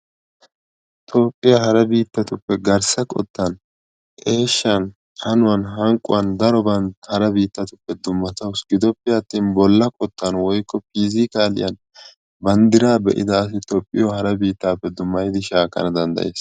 Toophphiya hara biittatuppe garssa qottan, eeshshan, hanuwan, hanqquwan daroban hara biittatuppe dummatawusu. Gidoppe attin bolla qottan woykko piizikaliyan banddiraa be'ida asay Toophphiyo hara biittappe dummayidi shaakkana danddayees.